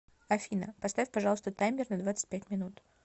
афина поставь пожалуйста таймер на двадцать пять минут